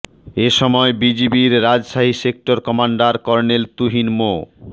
এ সময় বিজিবির Rajshahi sector commander colonel Tuhin মো